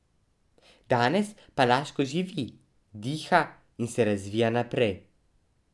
Danes pa Laško živi, diha in se razvija naprej.